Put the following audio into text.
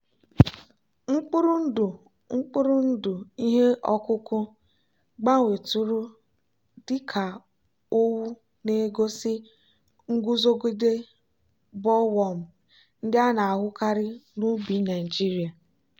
mkpụrụ ndụ mkpụrụ ndụ ihe ọkụkụ gbanwetụrụ dị ka owu na-egosi nguzogide bollworm ndị a na-ahụkarị n'ubi naijiria.